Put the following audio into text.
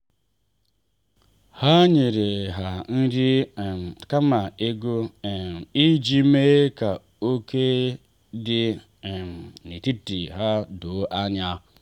ha nyere ha nri um kama ego um iji mee ka ókè dị um n’etiti ha doo anya.